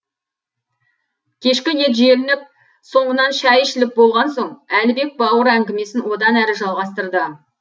кешкі ет желініп соңынан шай ішіліп болған соң әлібек бауыр әңгімесін одан әрі жалғастырды